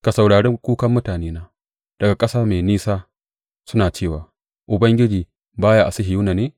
Ka saurari kukan mutanena daga ƙasa mai nisa suna cewa, Ubangiji ba ya a Sihiyona ne?